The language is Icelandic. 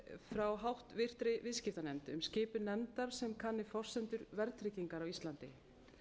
frá háttvirtri viðskiptanefnd um skipun nefndar sem kanni forsendur verðtrygginga á íslandi